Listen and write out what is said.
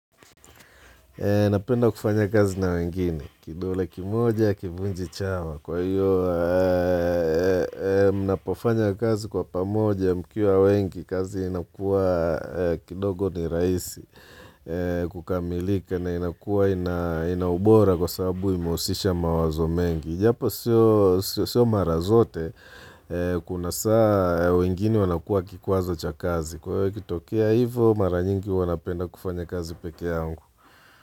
Napenda kufanya kazi na wengine, kidole kimoja, hakivunji chawa. Kwa hiyo, mnapofanya kazi kwa pamoja mkiwa wengi, kazi inakua kidogo ni rahisi kukamilika na inakua inaubora kwa sababu imehusisha mawazo mengi. Japo sio mara zote, kuna saa wengine wanakuwa kikwazo cha kazi. Kwa hiyo ikitokea hivo, mara nyingi huwa napenda kufanya kazi peke yangu.